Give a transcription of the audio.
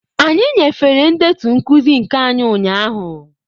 Anyị nyefere ndetu nkuzi nke anyị ụnyahụ.